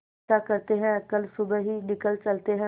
ऐसा करते है कल सुबह ही निकल चलते है